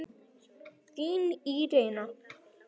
Þín Írena.